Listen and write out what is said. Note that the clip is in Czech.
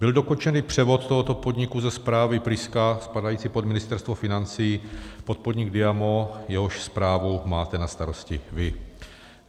Byl dokončen převod tohoto podniku ze správy Priska spadající pod Ministerstvo financí pod podnik DIAMO, jehož správu máte na starosti vy.